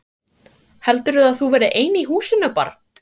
Heldurðu að þú verðir ein í húsinu barn!